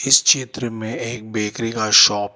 इस चित्र में एक बेकरी का शॉप --